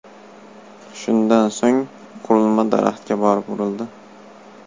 Shundan so‘ng qurilma daraxtga borib urildi .